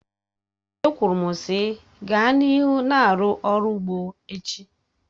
E kwuru m sị, gaa n'ihu na-arụ ọrụ ugbo echi!